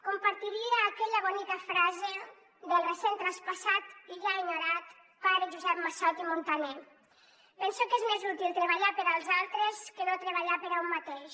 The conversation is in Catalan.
compartiria aquella bonica frase del recent traspassat i ja enyorat pare josep massot i muntaner penso que és més útil treballar per als altres que no treballar per a un mateix